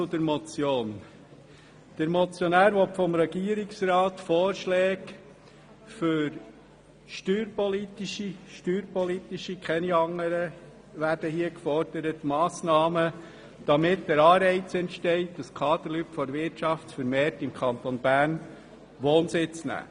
Zur Motion: Der Motionär fordert vom Regierungsrat Vorschläge für steuerpolitische – ausschliesslich steuerpolitische – Massnahmen, damit der Anreiz entsteht, dass die Kaderleute der Wirtschaft vermehrt im Kanton Bern Wohnsitz nehmen.